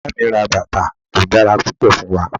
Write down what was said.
Iya mi ra batà to dara pupọ, fun wa.